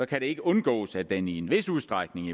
kan det ikke undgås at den i i en vis udstrækning